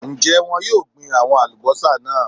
Ń jẹ́ wọn yìí ó gbin àwọn Alubọ́sá náà